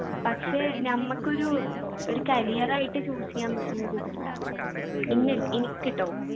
പക്ഷെ നമ്മക്കൊരു ഒരു career ആയിട്ട് choose ചെയ്യാൻ പറ്റുന്നൊരു ഇതല്ല എന്ന് എനിക്ക് ട്ടോ